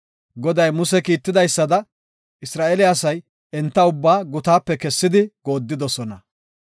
Goday Muse kiitidaysada Isra7eele asay enta ubbaa gutaape kessidi gooddidosona.